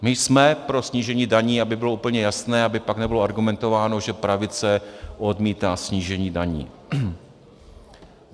My jsme pro snížení daní, aby bylo úplně jasné, aby pak nebylo argumentováno, že pravice odmítá snížení daní.